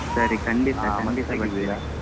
ಸರಿ ಖಂಡಿತಾ ಖಂಡಿತಾ ಬರ್ತೀನಿ.